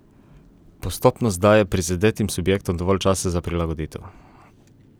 Postopnost daje prizadetim subjektom dovolj časa za prilagoditev.